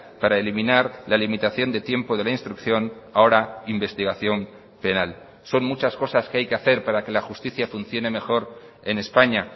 para eliminar la limitación de tiempo de la instrucción ahora investigación penal son muchas cosas que hay que hacer para que la justicia funcione mejor en españa